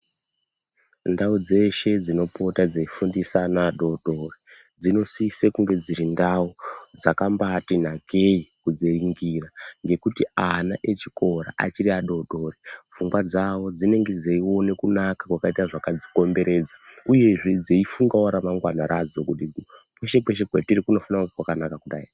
Ndawu dzeshe dzinopota dzeyifundisa ana adoodori dzinosise kunge dziri ndawu dzakambaiti nakei kudziningira nekuti ana echikora achiri adoodori pfungwa dzawo dzinenge dzeione kunaka kwakadzikomberedza uye zvee dzeyifungawo ramangwana rawo kuti kweshe kweshe kwatiri kunofanire kunge kwakanakawo kudai.